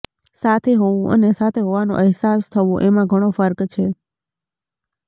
સાથે હોવું અને સાથે હોવાનો અહેસાસ થવો એમાં ઘણો ફર્ક છે